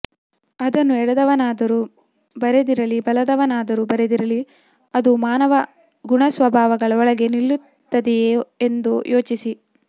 ಅದನ್ನು ಎಡದವನಾದರೂ ಬರೆದಿರಲಿ ಬಲದವನಾದರೂ ಬರೆದಿರಲಿ ಅದು ಮಾನವ ಗುಣಸ್ವಭಾವಗಳ ಒಳಗೆ ನಿಲ್ಲುತ್ತದೆಯೇ ಎಂದು ಯೋಚಿಸಿ